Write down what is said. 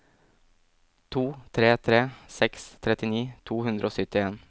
to tre tre seks trettini to hundre og syttien